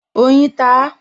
Oyin ta á